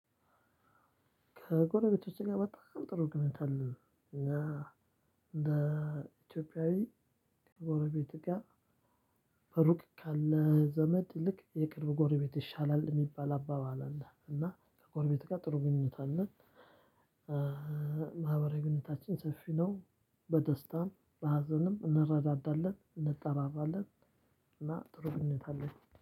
ከጎረቤቶች ጋር በጣም ጥሩ ግንኙነት አለ። እና እንደ ኢትዮጵያዊ ከጎረቤት እቃ እሩቅ ካለ ዘመድ ይልቅ የቅርብ ጎረቤት ይሻላል የሚባል አባባል አለ። እና ከጎረቤት ጋር ጥሩ ግንኙነት አለ። ማህበራዊ ግንኙነታችን ሰፊ ነው። በደስታም በሀዘንም እንረዳዳለን እንጠራራለን። እና ጥሩ ግንኙነት አለን